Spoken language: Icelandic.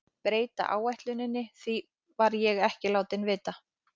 Breyta áætluninni, því var ég ekki látinn vita.